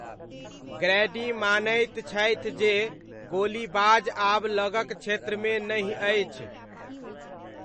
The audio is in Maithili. ग्रैडी मानैत छथि जे गोलीबाज आब लगक क्षेत्रमे नहि अछि।